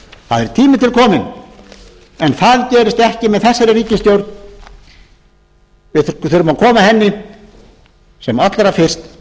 það er tími til kominn en það gerist ekki með þessari ríkisstjórn við þurfum að koma henni sem allra fyrst